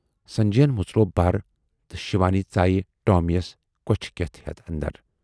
سنجے یَن مُژروو بَر تہٕ شِوانی ژایہِ ٹامی یَس کۅچھِ کٮ۪تھ ہٮ۪تھ اندر۔